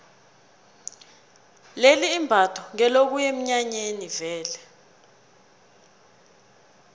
leli imbatho ngelokuya eminyanyeni vele